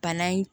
Bana in